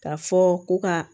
K'a fɔ ko ka